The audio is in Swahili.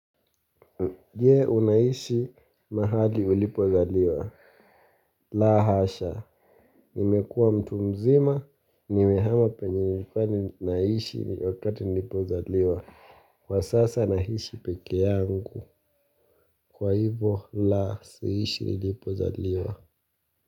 Je, unaishi mahali ulipozaliwa? La hasha, nimekuwa mtu mzima, nimehama penye nilikuwa naishi wakati nilipozaliwa. Kwa sasa ninaishi peke yangu, kwa hivyo la, siishi nilipozaliwa.